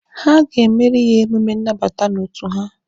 Ha ga-emere ya emume nnabata n'otu ha.